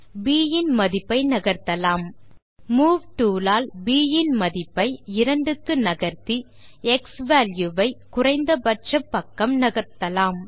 ப் இன் மதிப்பை நகர்த்தலாம் மூவ் டூல் ஆல் ப் இன் மதிப்பை ஐ 2 க்கு நகர்த்தி க்ஸ்வால்யூ வை குறைந்த பட்சம் பக்கம் நகர்த்தலாம்